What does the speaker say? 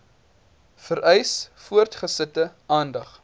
vereis voortgesette aandag